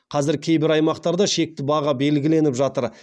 қазір кейбір аймақтарда шекті баға белгіленіп жатыр